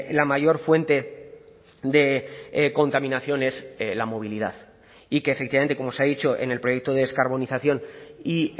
la mayor fuente de contaminación es la movilidad y que efectivamente como se ha dicho en el proyecto de descarbonización y